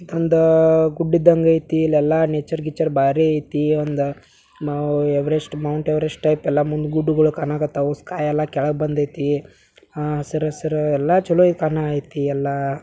ಒಂದಾ ಗುಡ್ಡು ಇದಂಗೆ ಅಯ್ತಿ ಇಲ್ಲಿ ಎಲ್ಲ ನೇಚರ್ ಗೀಚುರೆ ಬರಿ ಅಯ್ತಿ ಒಂದಾ ಯವರೆಸ್ಟ್ ಮೌಂಟೆವೆರೆಸ್ಟ್ ಆಯ್ತಳ ಮುಂದೆಗೂಟವು ಕಾಣಾಕಟಾವೊ ಕಾಯಿಯೆಲ್ಲ ಕೆಲ್ಗಡೆ ಬಂದೈತಿ ಆ ಸರ ಸರ ಎಲ್ಲ ಚಲೋ ಅಯ್ತೆ ಅಣ್ಣ ಎಲ್ಲ--